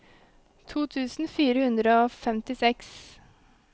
to tusen fire hundre og femtiseks